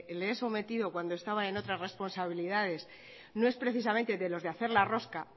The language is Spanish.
le he sometido cuando estaba en otras responsabilidades no es precisamente de los de hacer la rosca